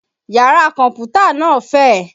Yàrá kọ̀mpútà náà fẹ̀